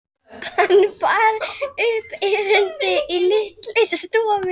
Hann bar upp erindið í litlu stofunni.